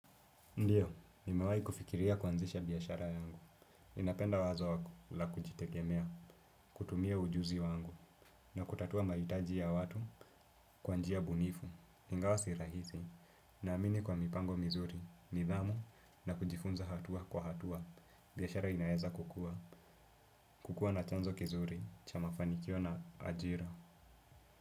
Ndiyo, nimewahi kufikiria kuanzisha biashara yangu. Napenda wazo la kujitegemea, kutumia ujuzi wangu, na kutatua mahitaji ya watu kwa njia bunifu. Ingawa si rahisi, naamini kwa mipango mizuri, nithamu, na kujifunza hatua kwa hatua. Biashara inaeza kukua, kukua na chanzo kizuri, cha mafanikio na ajira.